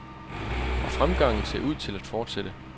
Og fremgangen ser ud til at fortsætte.